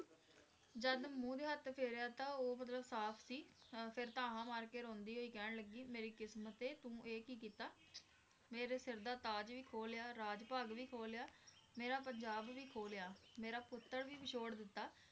ਜਦ ਮੂੰਹ ਤੇ ਹੱਥ ਫੇਰਿਆ ਉਹ ਮਤਲਬ ਸਾਫ਼ ਸੀ ਅਹ ਫਿਰ ਧਾਹਾਂ ਮਾਰ ਕੇ ਰੋਂਦੀ ਹੋਈ ਕਹਿਣ ਲੱਗੀ, ਮੇਰੀ ਕਿਸਮਤੇ ਤੂੰ ਇਹ ਕੀ ਕੀਤਾ ਮੇਰੇ ਸਿਰ ਦਾ ਤਾਜ ਵੀ ਖੋਹ ਲਿਆ, ਰਾਜ ਭਾਗ ਵੀ ਖੋਹ ਲਿਆ, ਮੇਰਾ ਪੰਜਾਬ ਵੀ ਖੋਹ ਲਿਆ, ਮੇਰਾ ਪੁੱਤਰ ਵੀ ਵਿਛੋੜ ਦਿੱਤਾ,